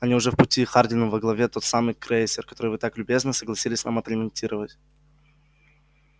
они уже в пути хардин а во главе тот самый крейсер который вы так любезно согласились нам отремонтировать